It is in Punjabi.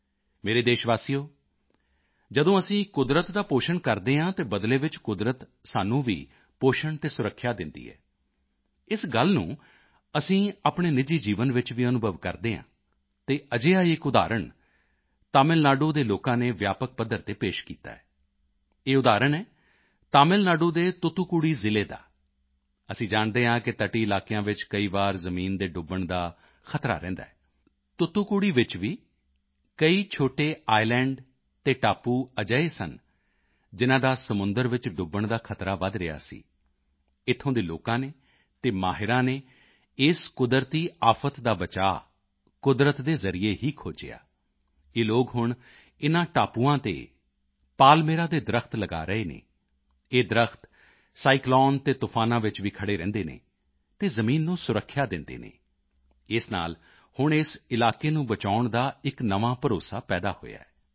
ਮੇਰੇ ਪਿਆਰੇ ਦੇਸ਼ਵਾਸੀਓ ਜਦੋਂ ਅਸੀਂ ਕੁਦਰਤ ਦਾ ਪੋਸ਼ਣ ਕਰਦੇ ਹਾਂ ਤਾਂ ਬਦਲੇ ਵਿੱਚ ਕੁਦਰਤ ਸਾਨੂੰ ਵੀ ਪੋਸ਼ਣ ਅਤੇ ਸੁਰੱਖਿਆ ਦਿੰਦੀ ਹੈ ਇਸ ਗੱਲ ਨੂੰ ਅਸੀਂ ਆਪਣੇ ਨਿਜੀ ਜੀਵਨ ਵਿੱਚ ਵੀ ਅਨੁਭਵ ਕਰਦੇ ਹਾਂ ਅਤੇ ਅਜਿਹਾ ਹੀ ਇੱਕ ਉਦਾਹਰਣ ਤਮਿਲ ਨਾਡੂ ਦੇ ਲੋਕਾਂ ਨੇ ਵਿਆਪਕ ਪੱਧਰ ਤੇ ਪੇਸ਼ ਕੀਤਾ ਹੈ ਇਹ ਉਦਾਹਰਣ ਹੈ ਤਮਿਲ ਨਾਡੂ ਦੇ ਤੁਤੁਕੁੜੀ ਜ਼ਿਲ੍ਹੇ ਦਾ ਅਸੀਂ ਜਾਣਦੇ ਹਾਂ ਕਿ ਤਟੀ ਇਲਾਕਿਆਂ ਵਿੱਚ ਕਈ ਵਾਰੀ ਜ਼ਮੀਨ ਦੇ ਡੁੱਬਣ ਦਾ ਖਤਰਾ ਰਹਿੰਦਾ ਹੈ ਤੁਤੁਕੁੜੀ ਵਿੱਚ ਵੀ ਕਈ ਛੋਟੇ ਇਸਲੈਂਡ ਅਤੇ ਟਾਪੂ ਅਜਿਹੇ ਸਨ ਜਿਨ੍ਹਾਂ ਦਾ ਸਮੁੰਦਰ ਵਿੱਚ ਡੁੱਬਣ ਦਾ ਖਤਰਾ ਵਧ ਰਿਹਾ ਸੀ ਇੱਥੋਂ ਦੇ ਲੋਕਾਂ ਨੇ ਅਤੇ ਮਾਹਿਰਾਂ ਨੇ ਇਸ ਕੁਦਰਤੀ ਆਫ਼ਤ ਦਾ ਬਚਾਓ ਕੁਦਰਤ ਦੇ ਜ਼ਰੀਏ ਹੀ ਖੋਜਿਆ ਇਹ ਲੋਕ ਹੁਣ ਇਨ੍ਹਾਂ ਟਾਪੂਆਂ ਤੇ ਪਾਲਮੇਰਾ ਦੇ ਦਰੱਖ਼ਤ ਲਗਾ ਰਹੇ ਹਨ ਇਹ ਦਰੱਖਤ ਸਾਈਕਲੋਨ ਅਤੇ ਤੂਫਾਨਾਂ ਵਿੱਚ ਵੀ ਖੜ੍ਹੇ ਰਹਿੰਦੇ ਅਤੇ ਜ਼ਮੀਨ ਨੂੰ ਸੁਰੱਖਿਆ ਦਿੰਦੇ ਹਨ ਇਸ ਨਾਲ ਹੁਣ ਇਸ ਇਲਾਕੇ ਨੂੰ ਬਚਾਉਣ ਦਾ ਇੱਕ ਨਵਾਂ ਭਰੋਸਾ ਪੈਦਾ ਹੋਇਆ ਹੈ